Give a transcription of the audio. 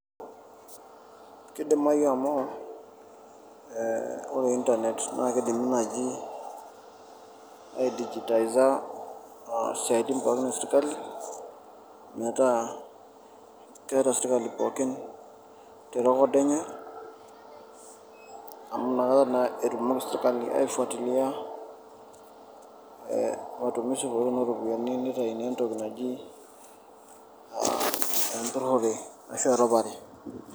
Kidimayu amu ee ore intanet naake idimi naaji aidigitiza aa isiaitin pookin e sirkali metaa keeta sirkali pookin te record enye amu inakata naa etumoki sirkali aifuatilia ee matumizi pookin o ropiani nitayuni entoki naji empurore ashu erupare.